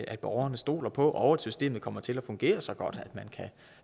at borgerne stoler på det og at systemet kommer til at fungere så godt